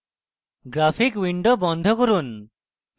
graphic window বন্ধ করুন